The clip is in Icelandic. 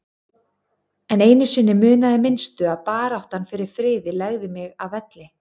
En einu sinni munaði minnstu að baráttan fyrir friði legði mig að velli.